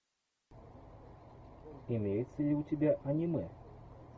имеется ли у тебя аниме